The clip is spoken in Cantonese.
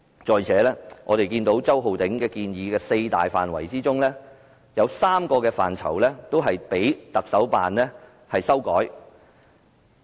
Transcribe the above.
再者，在周浩鼎議員建議的四大範疇之中，有3個範疇被特首辦修改。